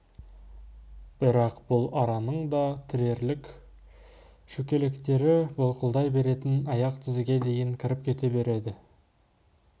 бірақ бұл араның да аяқ тірерлік шөкелектері былқылдай беретін аяқ тізеге дейін кіріп кете берді